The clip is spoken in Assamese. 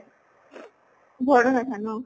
ঘৰতে থাকে ন?